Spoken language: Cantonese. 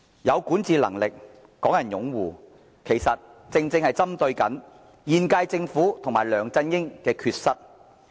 有管治能力、港人擁護，這些條件正正針對現屆政府及梁振英的缺失。